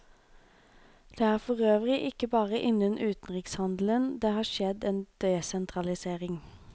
Det er forøvrig ikke bare innen utenrikshandelen det har skjedd en desentralisering.